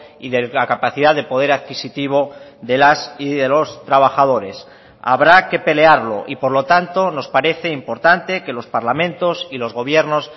y de la capacidad de poder adquisitivo de las y de los trabajadores habrá que pelearlo y por lo tanto nos parece importante que los parlamentos y los gobiernos